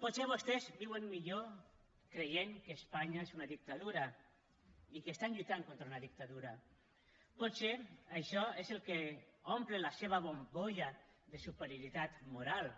potser vostès viuen millor creient que espanya és una dictadura i que estan lluitant contra una dictadura potser això és el que omple la seva bombolla de superioritat moral